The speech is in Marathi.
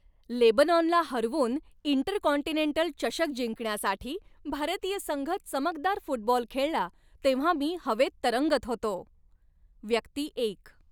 लेबनॉनला हरवून इंटरकॉन्टिनेंटल चषक जिंकण्यासाठी भारतीय संघ चमकदार फुटबॉल खेळला तेव्हा मी हवेत तरंगत होतो. व्यक्ती एक